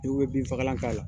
Dɔw bɛ bin fakalan'a la